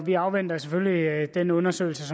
vi afventer selvfølgelig den undersøgelse